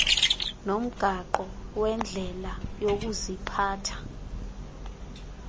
nomgaqo wendlela yokuziphatha